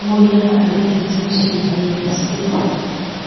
mo yà àlejò tí ń ṣe ayẹyẹ sílẹ